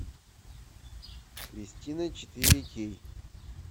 кристина четыре кей